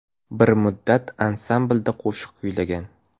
Bir muddat ansamblda qo‘shiq kuylagan.